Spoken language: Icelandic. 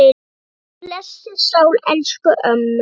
Guð blessi sál elsku ömmu.